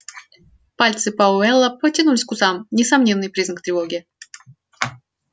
пальцы пауэлла потянулись к усам несомненный признак тревоги